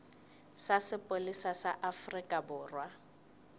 sa sepolesa sa afrika borwa